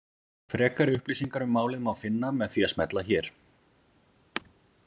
Frekari upplýsingar um málið má finna með því að smella hér.